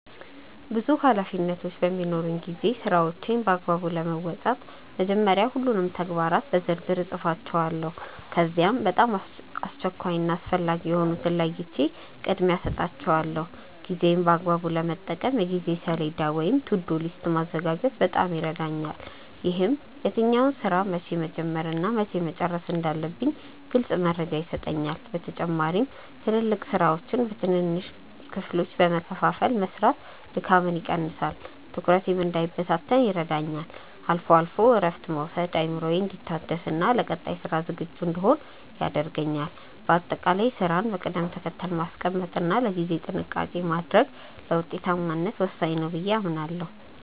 ብዙ ኃላፊነቶች በሚኖሩኝ ጊዜ ስራዎቼን በአግባቡ ለመወጣት መጀመሪያ ሁሉንም ተግባራት በዝርዝር እጽፋቸዋለሁ። ከዚያም በጣም አስቸኳይ እና አስፈላጊ የሆኑትን ለይቼ ቅድሚያ እሰጣቸዋለሁ። ጊዜዬን በአግባቡ ለመጠቀም የጊዜ ሰሌዳ ወይም "To-do list" ማዘጋጀት በጣም ይረዳኛል። ይህም የትኛውን ስራ መቼ መጀመር እና መቼ መጨረስ እንዳለብኝ ግልጽ መረጃ ይሰጠኛል። በተጨማሪም ትላልቅ ስራዎችን በትንንሽ ክፍሎች በመከፋፈል መስራት ድካምን ይቀንሳል፤ ትኩረቴም እንዳይበታተን ይረዳኛል። አልፎ አልፎም እረፍት መውሰድ አእምሮዬ እንዲታደስና ለቀጣይ ስራ ዝግጁ እንድሆን ያደርገኛል። በአጠቃላይ ስራን በቅደም ተከተል ማስቀመጥ እና ለጊዜ ጥንቃቄ ማድረግ ለውጤታማነት ወሳኝ ነው ብዬ አምናለሁ።